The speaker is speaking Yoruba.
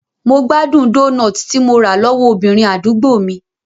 Mo gbádùn doughnut tí mo rà lọ́wọ́ obìnrin àdúgbò mi.